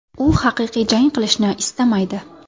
U haqiqiy jang qilishni istamaydi.